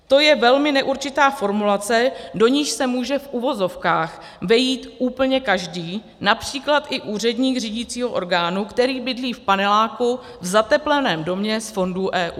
To je velmi neurčitá formulace, do níž se může - v uvozovkách - vejít úplně každý, například i úředník řídicího orgánu, který bydlí v paneláku, v zatepleném domě z fondů EU.